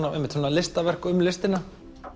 listaverk um listina